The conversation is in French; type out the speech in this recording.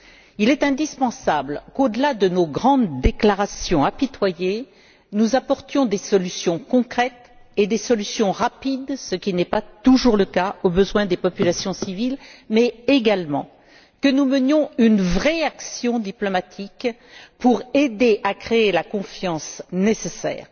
Il est indispensable qu'au delà de nos grandes déclarations apitoyées, nous apportions des solutions concrètes et rapides, ce qui n'est pas toujours le cas, aux besoins des populations civiles, mais également que nous menions une véritable action diplomatique pour aider à créer la confiance nécessaire.